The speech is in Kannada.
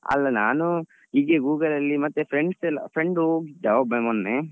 ಅಲ್ಲ ನಾನು ಹೀಗೆ Google ಅಲ್ಲಿ ಮತ್ತೆ friends ಎಲ್ಲ friend ಹೋಗಿದ್ದ ಒಬ್ಬ ಮೊನ್ನೆ.